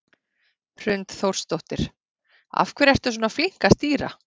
Hrund Þórsdóttir: Af hverju ertu svona flink að stýra?